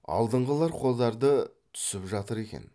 алдыңғылар қодарды түсіп жатыр екен